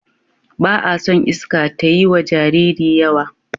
Ba a son iska tayiwa Jariri yawa